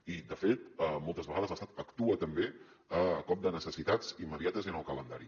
i de fet moltes vegades l’estat actua també a cop de necessitats immediates i en el calendari